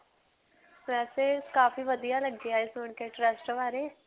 ਵੈਸੇ ਕਾਫੀ ਵਧੀਆ ਲੱਗਿਆ ਇਹ ਸੁਣ ਕੇ trust ਬਾਰੇ.